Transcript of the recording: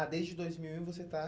Ah, desde dois mil e um você está?